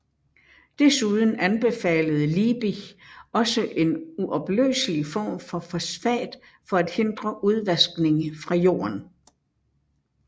Desuden anbefalede Liebig også en uopløselig form for fosfat for at hindre udvaskning fra jorden